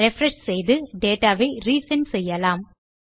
refresh செய்து data ஐ ரிசெண்ட் செய்யலாம்